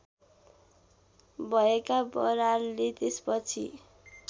भएका बरालले त्यसपछि